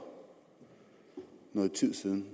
noget tid siden